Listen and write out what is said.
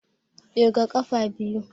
Ƙirga ƙafa biyu